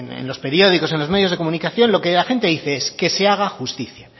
en los periódicos en los medios de comunicación lo que la gente dice es que se haga justicia